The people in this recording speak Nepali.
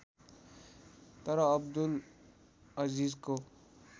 तर अब्दुल अजीजको